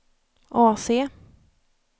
AC